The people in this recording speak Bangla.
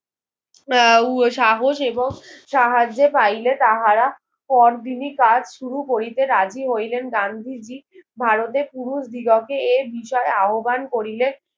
আহ উহ সাহস এবং সাহায্যে পাইলে তাহারা করদিনি কাজ শুরু করিতে রাজি হইলেন গান্ধীজি ভারতে পুরুষ দিগকে এর বিষয়ে আহব্বান করিলে